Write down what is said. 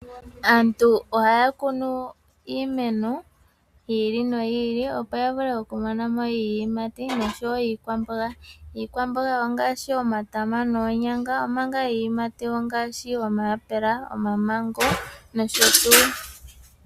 Aantu ohaya kunu iimeno yiili noyi ili, opo ya vule okumona iiyimati oshowo iikwamboga. Iikwamboga ongaashi omatama noonyanga omanga iiyimati omayaoula, omamengo nosho tuu.